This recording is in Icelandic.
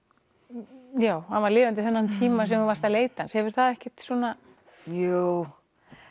já hann var lifandi þennan tíma sem þú varst að leita hefur það ekkert svona jú